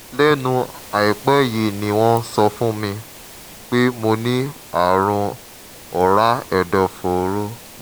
lẹ́nu àìpẹ́ yìí ni wọ́n sọ fún mi pé mo ní ààrùn ọ̀rá ẹ̀dọ̀fóró